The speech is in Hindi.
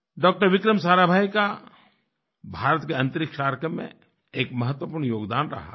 डॉक्टर विक्रम साराभाई का भारत के अंतरिक्ष कार्यक्रम में एक महत्वपूर्ण योगदान रहा है